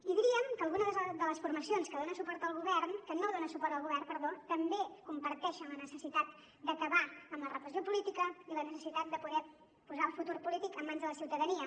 i diríem que algunes de les formacions que no dona suport al govern també comparteixen la necessitat d’acabar amb la repressió política i la necessitat de poder posar el futur polític en mans de la ciutadania